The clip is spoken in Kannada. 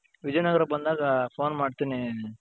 ವಿಜಯ್ ನಗರ ಬಂದಾಗ ಫೋನ್ ಮಾಡ್ತೀನಿ,